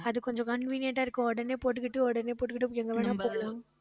ஆஹ் அது கொஞ்சம் convenient ஆ இருக்கும். உடனே போட்டுக்கிட்டு உடனே போட்டுக்கிட்டு எங்க வேணாலும் போலாம்